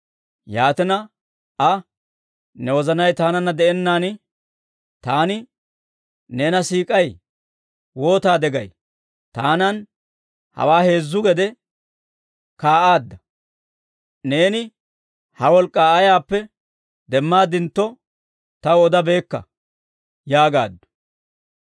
Yaatina Aa, «Ne wozanay taananna de'ennaan, ‹Taani neena siik'ay› waataade gay? Taanan hawaana heezzu gede kaa'aadda. Neeni ha wolk'k'aa ayaappe demmaadintto, taw odabaakka» yaagaaddu.